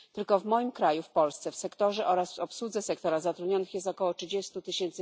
Tylko w moim kraju, w Polsce, w sektorze oraz w obsłudze sektora zatrudnionych jest około 30 tys.